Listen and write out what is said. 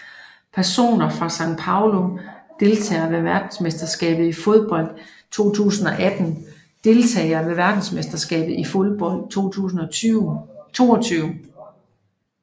Personer fra São Paulo Deltagere ved verdensmesterskabet i fodbold 2018 Deltagere ved verdensmesterskabet i fodbold 2022